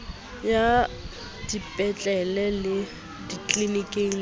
ya dipetlele le ditliliniki le